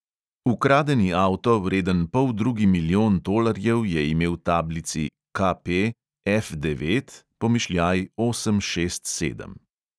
Ukradeni avto, vreden poldrugi milijon tolarjev, je imel tablici KP F devet pomišljaj osem šest sedem .